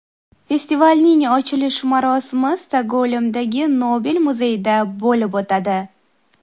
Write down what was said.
Festivalning ochilish marosimi Stokgolmdagi Nobel muzeyida bo‘lib o‘tadi.